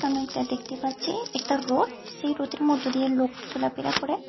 আমরা একটা দেখতে পাচ্ছি একটা রোড সেই রোডের মধ্যে দিয়ে লোক চলাফেরা করে।